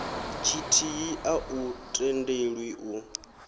tshithihi a u tendelwi u